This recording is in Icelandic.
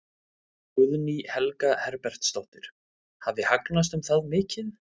Guðný Helga Herbertsdóttir: Hafi hagnast um það mikið?